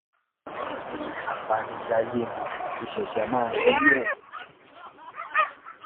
wọn ní apanijayé ni kò ṣẹṣẹ máa ṣerú ẹ